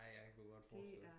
Nej jeg kunne godt forestille